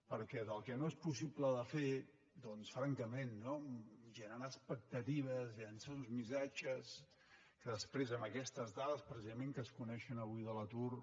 perquè del que no és possible de fer doncs francament no generar expectatives llançar uns missatges que després amb aquestes dades precisament que es coneixen avui de l’atur